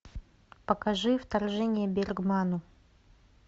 покажи вторжение к бергману